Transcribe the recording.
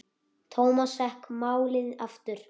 Thomas fékk málið aftur.